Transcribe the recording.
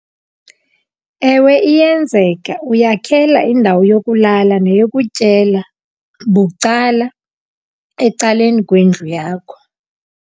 Ewe, iyenzeka. Uyakhela indawo yokulala neyokutyela bucala ecaleni kwendlu yakho.